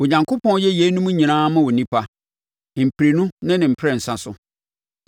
“Onyankopɔn yɛ yeinom nyinaa ma onipa, mprɛnu ne ne mprɛnsa so,